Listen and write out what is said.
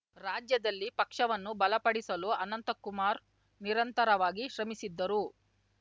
ರಾಜ್ಯದಲ್ಲಿ ಪಕ್ಷವನ್ನು ಬಲಪಡಿಸಲು ಅನಂತಕುಮಾರ್‌ ನಿರಂತರವಾಗಿ ಶ್ರಮಿಸಿದ್ದರು